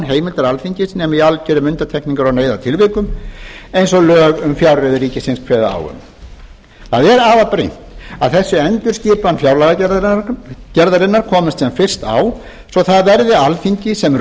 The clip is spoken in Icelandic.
heimildar alþingis nema í algjörum undantekningar og neyðartilvikum eins og lög um fjárreiður ríkisins kveða á um afar brýnt er að þessi endurskipan fjárlagagerðarinnar komist sem fyrst á svo það verði alþingi sem